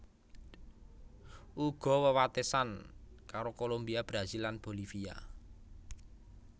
Uga wewatesan karo Kolombia Brasil lan Bolivia